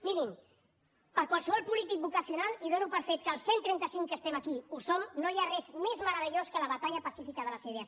mirin per qualsevol polític vocacional i dono per fet que els cent trenta cinc que estem aquí ho som no hi ha res més meravellós que la batalla pacífica de les idees